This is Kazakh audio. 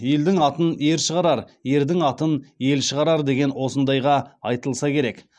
елдің атын ер шығарар ердің атын ел шығарар деген осындайға айтылса керек